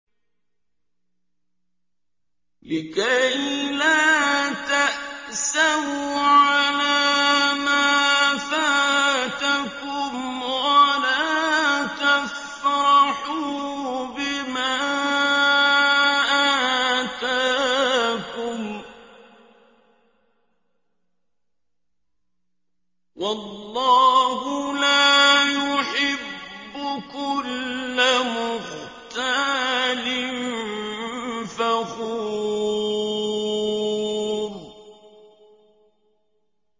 لِّكَيْلَا تَأْسَوْا عَلَىٰ مَا فَاتَكُمْ وَلَا تَفْرَحُوا بِمَا آتَاكُمْ ۗ وَاللَّهُ لَا يُحِبُّ كُلَّ مُخْتَالٍ فَخُورٍ